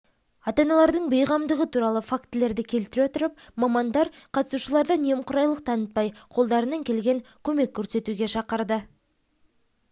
ата-аналардың бейғамдығы туралы фактілерді келтіре отырып мамандар қатысушыларды немқұрайлық танытпай қолдарынан келген көмек көрсетуге шақырды